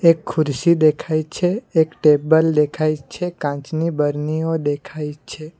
એક ખુરશી દેખાય છે એક ટેબલ દેખાય છે કાચની બરણીઓ દેખાય છે.